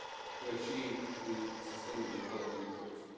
to achieve the sustainable development goals.